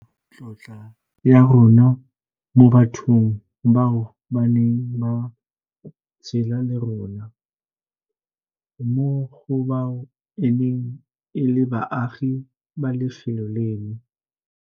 Re dira seno go supa tlotla ya rona mo bathong bao ba neng ba tshela le rona, mo go bao e neng e le baagi ba lefelo leno.